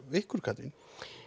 ykkur Katrín